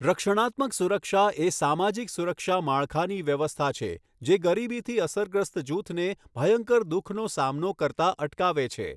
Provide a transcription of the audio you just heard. રક્ષણાત્મક સુરક્ષા એ સામાજિક સુરક્ષા માળખાની વ્યવસ્થા છે, જે ગરીબીથી અસરગ્રસ્ત જૂથને ભયંકર દુઃખનો સામનો કરતા અટકાવે છે.